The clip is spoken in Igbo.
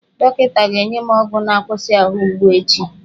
Dọkịta ga-enye m ọgwụ na-akwụsị ahụ mgbu echi.